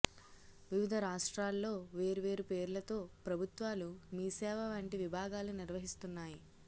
వివిధ రాష్ట్రాల్లో వేర్వేరు పేర్లతో ప్రభుత్వాలు మీసేవ వంటి విభాగాలు నిర్వహిస్తున్నాయి